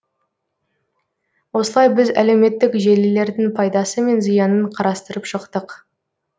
осылай біз әлеуметтік желілердің пайдасы мен зиянын қарастырып шықтық